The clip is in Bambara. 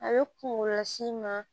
A bɛ kunkolo las'i ma